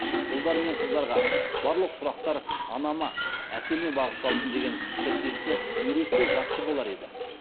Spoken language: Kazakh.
ұлдар мен қыздарға барлық сұрақтар анама әкеме бағытталсын деген тіркесті үйретсе жақсы болар еді